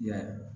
I y'a ye